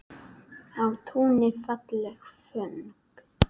Á túni falleg föng.